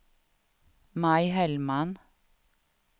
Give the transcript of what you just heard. Maj Hellman